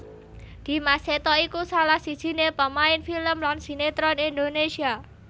Dimas Seto iku salah sijiné pamain film lan sinetron Indonésia